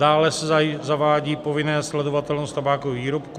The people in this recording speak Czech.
Dále se zavádí povinná sledovatelnost tabákových výrobků.